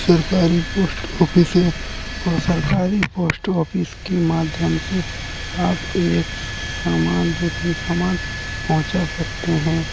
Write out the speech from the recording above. सरकारी post office है और सरकारी पोस्ट ऑफिस के माध्यम से आप एक समान दूसरी सामान पंहुचा सकते हैं।